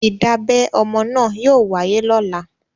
Ìdábẹ ọmọ náà yóò wáyé lọ́la.